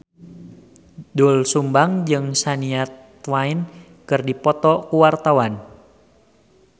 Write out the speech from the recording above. Doel Sumbang jeung Shania Twain keur dipoto ku wartawan